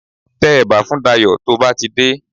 Tẹ ẹ̀bà fún Dayọ̀ tó bá ti dé